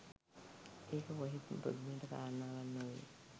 ඒක කොහෙත්ම පුදුමයට කාරණාවක් නොවෙයි